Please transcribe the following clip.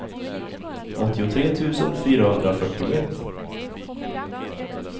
åttiotre tusen fyrahundrafyrtioett